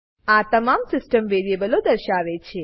આ તમામ સીસ્ટમ વેરીએબલો દર્શાવે છે